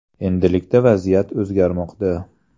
Endilikda vaziyat o‘zgarmoqda.